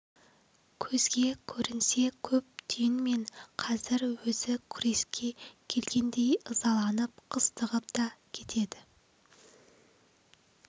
көзге көрінсе көп түйінмен қазір өзі күреске келгендей ызаланып қыстығып та кетеді